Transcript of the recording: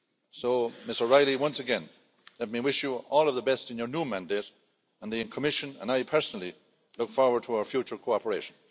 So Ms O'Reilly, once again, let me wish you all the best in your new mandate, and the Commission and I personally look forward to our future cooperation.